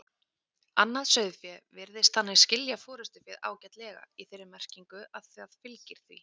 Vísindamenn hafa á undanförnum áhrifum fengið vaxandi áhuga á efnasamböndum sem finnast í slími snigla.